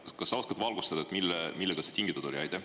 Kas sa oskad valgustada, millest see tingitud oli?